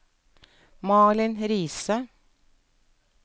Malin Riise